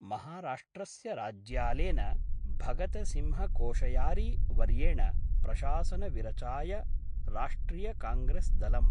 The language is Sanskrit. महाराष्ट्रस्य राज्यालेन भगतसिंहकोश्यारी वर्येण प्रशासनविरचाय राष्ट्रियकांग्रेसदलं